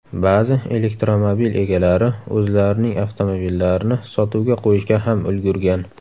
Ba’zi elektromobil egalari o‘zlarining avtomobillarini sotuvga qo‘yishga ham ulgurgan.